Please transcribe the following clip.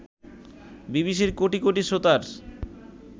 বিবিসির কোটি কোটি শ্রোতার